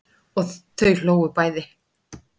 Og þau hlógu bæði.